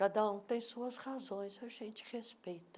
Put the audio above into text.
Cada um tem suas razões, a gente respeita.